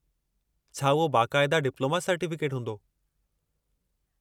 छा उहो बाक़ायदा डिप्लोमा सर्टीफ़िकेटु हूंदो?